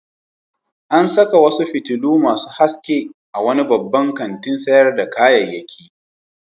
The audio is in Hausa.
An saka wasu fitilu masu haske a wani babban kantin sayar da kayayyaki.